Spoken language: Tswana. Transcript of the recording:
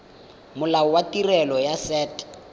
molao wa tirelo ya set